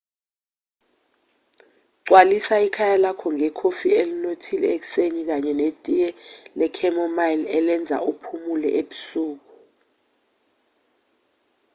gcwalisa ikhaya lakho ngekhofi elinothile ekuseni kanye netiye le-chamomile elenza uphumule ebusuku